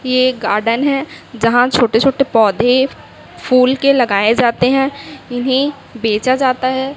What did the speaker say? ये एक गार्डन है यहां छोटे छोटे पौधे फूल के लगाए जाते हैं इन्हें बेचा जाता है।